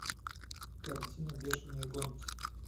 картина бешеные гонки